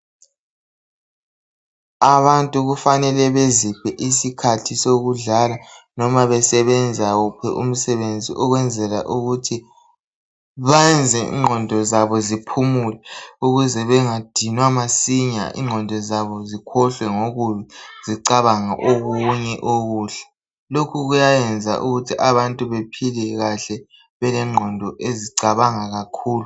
Abantu kufanele beziphe isikhathi sokudlala noma besebenza wuphi umsebenzi ukwenzela ukuthi bayenze ingqondo zaboziphumule ukuze bengadinwa masinya ingqondo zabo zikhohlwe ngokubi zicabange okunye okuhle. Lokhu kuyayenza ukuthi abantu baphile kahle belengqondo ezicabanga kakhulu.